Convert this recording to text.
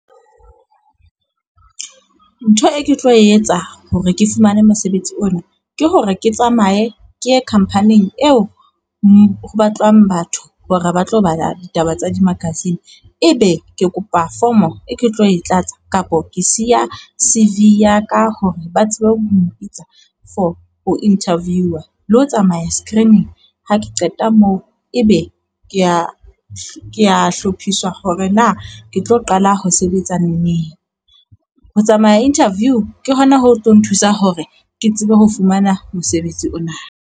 Ntho e ke tlo etsa hore ke fumane mosebetsi ona ke hore ke tsamaye ke ye company-ing eo ho batlwang batho hore ba tlo bala ditaba tsa di-magazine. Ebe ke kopa fomo e ke tlo e tlatsa kapo ke siya C_V ya ka hore ba tsebe ho mo mpitsa for ho interviewer le ho tsamaya screening. Ha ke qeta moo, ebe ke a ke a hlophiswa hore na ke tlo qala ho sebetsa neneng. Ho tsamaya interview ke hona ho tlo nthusa hore ke tsebe ho fumana mosebetsi ona.